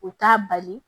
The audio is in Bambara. U t'a bali